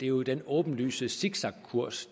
jo den åbenlyse zigzagkurs